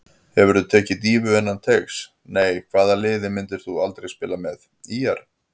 Hefurðu tekið dýfu innan teigs: Nei Hvaða liði myndir þú aldrei spila með: ÍR